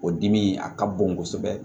O dimi a ka bon kosɛbɛ